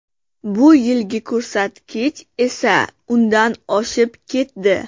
Bu yilgi ko‘rsatkich esa undan oshib ketdi.